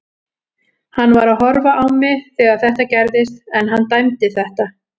Hann var að horfa á mig þegar þetta gerðist en hann dæmdi þetta.